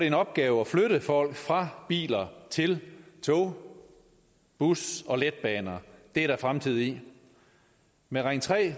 en opgave at flytte folk fra biler til tog busser og letbaner det er der fremtid i med ring tre